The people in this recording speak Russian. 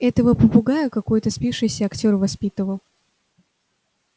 этого попугая какой-то спившийся актёр воспитывал